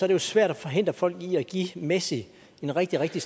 det jo svært at forhindre folk i at give messi en rigtig rigtig